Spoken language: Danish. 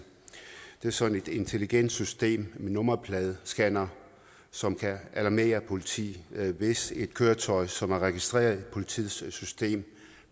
det er sådan et intelligent system med nummerpladescannere som kan alarmere politi hvis et køretøj som er registreret i politiets system